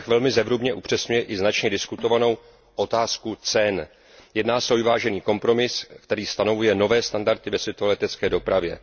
Návrh velmi zevrubně upřesňuje i značně diskutovanou otázku cen. Jedná se o vyvážený kompromis, který stanovuje nové standardy ve světové letecké dopravě.